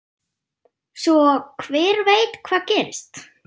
Svo hver veit hvað gerist?